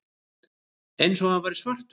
Eins og hann væri svartur.